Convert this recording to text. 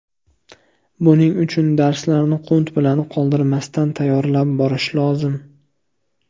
Buning uchun darslarni qunt bilan, qoldirmasdan tayyorlab borish lozim.